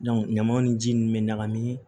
ɲamanw ni ji nunnu bɛ ɲagami